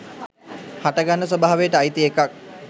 හටගන්න ස්වභාවයට අයිති එකක්.